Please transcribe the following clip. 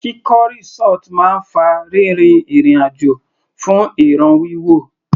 Kíkọ́ resort máa ń fa rírin ìrìn àjò fún ìràn wíwò.